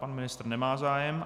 Pan ministr nemá zájem.